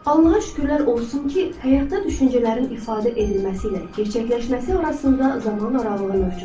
Allaha şükürlər olsun ki, həyatda düşüncələrin ifadə edilməsi ilə gerçəkləşməsi arasında zaman aralığı mövcuddur.